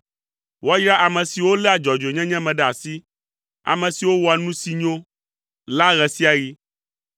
Woayra ame siwo léa dzɔdzɔenyenye me ɖe asi, ame siwo wɔa nu si nyo la ɣe sia ɣi.